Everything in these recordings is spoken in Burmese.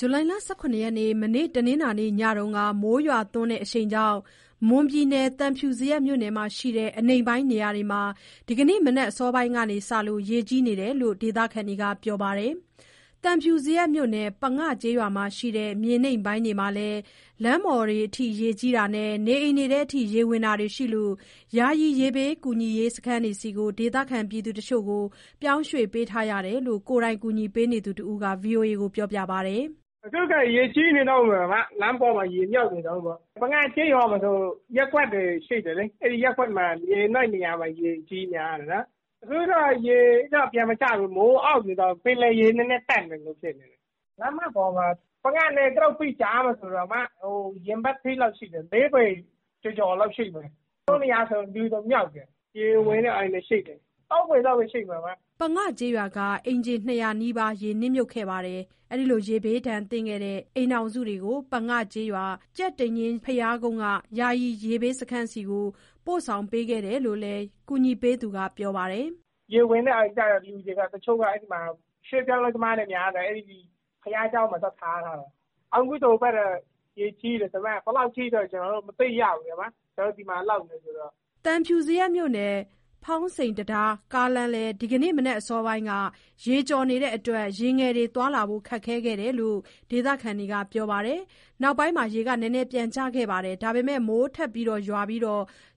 ဇူလိုင်လ ၁၇ ရက်၊ မနေ့ညတုန်းက မိုးရွာသွန်းတဲ့ အရှိန်ကြောင့် မွန်ပြည်နယ်၊ သံဖြူဇရပ် မြို့နယ်မှာရှိတဲ့ အနိမ့်ပိုင်းနေရာတွေမှာ ဒီမနက် အစောပိုင်းကစလို့ ရေကြီးနေတာလို့ ဒေသခံတွေက ပြောပါတယ်။ သံဖြူဇရပ်မြို့နယ်၊ ပငကျေးရွာမှာ ရှိတဲ့ မြေနိမ့်ပိုင်းတွေမှာလည်း လမ်းပေါ်ရေကြီးတာနဲ့ နေအိမ်ထဲ ရေဝင်တာတွေရှိလို့ ယာယီ ရေဘေးစခန်းဆီ ဒေသခံတချို့ကို ပြောင်းရွှေ့ပေးထားရတယ်လို့ ကိုယ်တိုင် ကူညီနေသူတဦးက ပြောပါတယ်။ "အခုက ရေကြီးနေတုန်းပဲ။ လမ်းပေါ်မှာ ရေမြုပ်နေတုန်းပဲပေါ့။ ပငကျေးရွာမှာဆို ရပ်ကွက်တွေရှိတယ်လေ။ အဲဒီရပ်ကွက်တွေက မြေနိမ့်နေရာတွေမှာ ရေကြီးနေတာ။ အခုတော့ ရေကပြန်မကျဘူး၊ မိုးအုံ့နေတော့ ပင်လယ်ရေနည်းနည်း တက်နေသလိုဖြစ်နေတယ်။ လမ်းမပေါ်မှာ ပငနဲ့ ဂရုပ္ပိကြားမှာဆို ရင်ဘတ်ထိလောက်ရှိတယ်၊ ၄ ပေ ကျော်ကျော်လောက်ရှိတယ်။ တချို့နေရာဆို လူပါမြုပ်တယ်။ ရေဝင်တဲ့ အိမ်တွေရှိတယ်၊ ၃ ပေလောက်တော့မြုပ်တယ်။" ပငကျေးရွာက အိမ်ခြေ ၂၀၀ နီးပါး ရေနစ်မြုပ်ခဲ့ပြီး ရေဘေးဒဏ်ခံရတဲ့ အိမ်ထောင်စုတွေကို ပငကျေးရွာ၊ ကြက်တိန်ညှင်း ဘုရားကုန်းက ယာယီရေဘေးစခန်းဆီ ပို့ဆောင်ပေးခဲ့တယ်လို့လည်း ကူညီပေးနေသူက ပြောပါတယ်။ "ရေဝင်တဲ့အိမ်ကျ လူတွေက တချို့က အဲဒီမှာ ရွှေ့ပြောင်းအလုပ်သမားတွေ များတယ်။ အဲဒီနား ဘုရားကျောင်းမှာ သွားထား ထားတယ်။ အခုဆို ဟိုဘက်တွေလည်း ရေကြီးတယ်။ ဒါပေမဲ့ ဘယ်လောက်ထိလဲတော့ ကျနော်တို့လည်း မသိရဘူး၊ ကျနော်တို့က ပငဘက်မှာ လုပ်နေတာဆိုတော့။" သံဖြူဇရပ်မြို့နယ်၊ ဖောင်စိန်တံတား ကားလမ်းလည်း ဒီကနေ့ မနက်အစောပိုင်းမှာ ရေကျော်နေလို့ ယာဉ်ငယ်တွေ သွားလာဖို့ ခက်ခဲခဲ့တယ်လို့ ဒေသခံတွေက ပြောပါတယ်။ နောက်ပိုင်း ရေနည်းနည်း ပြန်ကျပေမဲ့ မိုး ထပ်သည်းပြီး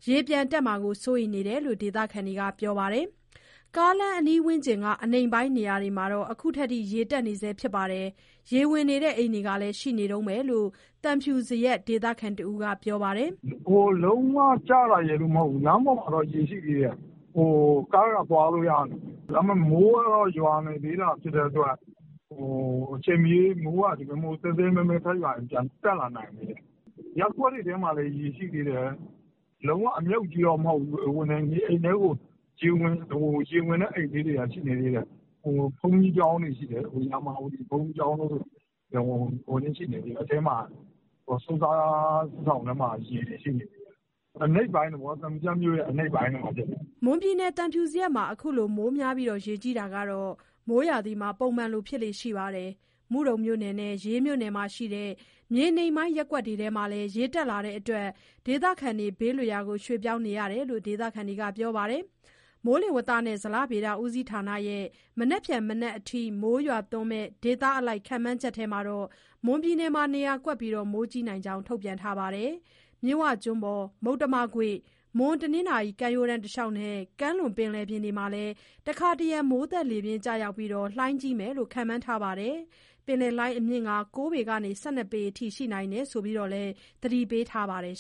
ရေပြန်တက်မှာ စိုးရိမ်နေရတယ်လို့ ဒေသခံတွေက ပြောပါတယ်။ ကားလမ်းအနီးဝန်းကျင်က အနိမ့်ပိုင်းနေရာတွေမှာ အခုထိ ရေတက်နေဆဲ ဖြစ်ပြီး၊ ရေဝင်နေတဲ့ အိမ်တွေ ရှိနေတုန်းပဲလို့ သံဖြူဇရပ် ဒေသခံတဦးက ပြောပါတယ်။ "ရေလုံးဝကျတာရယ်လို့တော့ မဟုတ်ဘူး။ လမ်းပေါ်မှာတော့ ရေရှိသေးတယ်။ ကားတွေကတော့ သွားလို့ရနေပြီ။ ဒါပေမဲ့ မိုးကရွာနေသေးတော့ ဒီလိုမျိုး သည်းသည်းမဲမဲ ထပ်ရွာရင် အချိန်မရွေး ပြန်တက်လာနိုင်တယ်။ ရပ်ကွက်တွေထဲမှာလည်း ရေရှိသေးတယ်။ လုံးဝအမြုပ်ကြီးတော့ မဟုတ်ဘူး။ ရေဝင်တဲ့အိမ်လေးတွေ ရှိနေသေးတယ်။ ဘုန်းကြီးကျောင်းက ဆွမ်းစားဆောင်တွေထဲ ရေရှိနေသေးတယ်။ အနိမ့်ပိုင်းတွေပေါ့၊ သံဖြူဇရပ်မြို့ရဲ့ အနိမ့်ပိုင်းတွေမှာ ရေဝင်တာ။" မွန်ပြည်နယ်၊ သံဖြူဇရပ်မှာ အခုလို မိုးများလို့ ရေကြီးတာကတော့ မိုးရာသီမှာ ပုံမှန်လိုဖြစ်လေ့ ရှိပါတယ်။ မုဒုံနဲ့ ရေးမြို့နယ်မှာရှိတဲ့ မြေနိမ့်ပိုင်း ရပ်ကွက်တွေထဲမှာလည်း ရေတက်လာနေလို့ ဒေသခံတွေ ဘေးလွတ်ရာ ရွှေ့ပြောင်းနေရတယ်လို့ ဒေသခံတွေက ပြောပါတယ်။ မိုးဇလဌာနရဲ့ မနက်ဖြန်မနက်အထိ မိုးရွာသွန်းမယ့်ဒေသအလိုက် ခန့်မှန်းထားတဲ့အထဲမှာ မွန်ပြည်နယ်မှာ နေရာကွက်ပြီး မိုးကြီးနိုင်ကြောင်း ထုတ်ပြန်ထားပါတယ်။ မြစ်ဝကျွန်းပေါ်၊ မုတ္တမကွေ့၊ မွန်-တနင်္သာရီ ကမ်းရိုးတန်းတလျှောက်နဲ့ ကမ်းလွန်ပင်လယ်ပြင်တို့မှာလည်း တခါတရံ မိုးသက်လေပြင်း ကျရောက်ပြီး၊ လှိုင်းကြီးမယ်လို့ ခန့်မှန်းထားပါတယ်။ လှိုင်းအမြင့်က ၉ ပေကနေ ၁၂ ပေအထိ ရှိနိုင်တယ်လို့လည်း သတိပေးထားပါတယ်